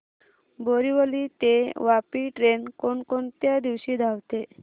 बोरिवली ते वापी ट्रेन कोण कोणत्या दिवशी धावते